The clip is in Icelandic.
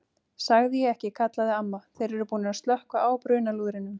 Sagði ég ekki kallaði amma, þeir eru búnir að slökkva á brunalúðrinum